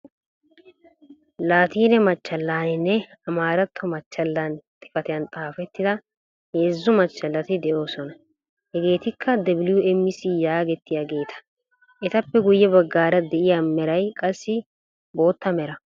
Laatiine maachchalaninne amaaratto maachchalan xifaatiyaan xaafettida heezzu maachchalati de'oosona. Hegeetikka wmc yagetettiyaageta. etappe guyye baggaara de'iyaa meeray qassi bootta meeraa.